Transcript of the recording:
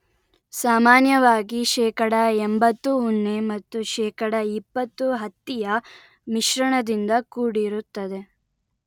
ಸಾಮಾನ್ಯವಾಗಿ ಶೇಕಡ ಎಂಭತ್ತು ಉಣ್ಣೆ ಮತ್ತು ಶೇಕಡ ಇಪ್ಪತ್ತು ಹತ್ತಿಯ ಮಿಶ್ರಣದಿಂದ ಕೂಡಿರುತ್ತದೆ